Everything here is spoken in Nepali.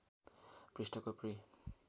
पृष्ठको पृ